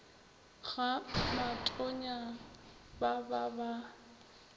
ga matonya ba ba ba